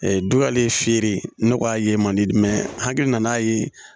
dugalen feere ne k'a ye man di n hakili n'a ye